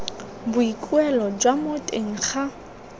boikuelo jwa mo teng ga